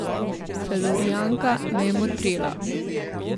Felurijanka me je motrila.